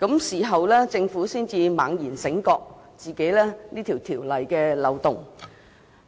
事後政府才猛然醒覺條例存在漏洞。